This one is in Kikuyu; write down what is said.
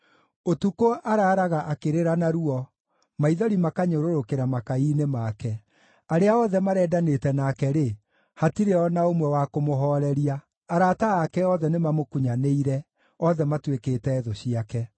Ũtukũ araaraga akĩrĩra na ruo, maithori makanyũrũrũkĩra makai-inĩ make. Arĩa othe marendanĩte nake-rĩ, hatirĩ o na ũmwe wa kũmũhooreria. Arata ake othe nĩmamũkunyanĩire; othe matuĩkĩte thũ ciake.